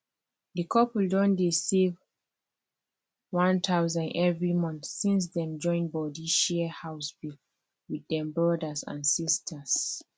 the couple don dey save 1000 every month since dem join body share house bill with dem brothers and sisters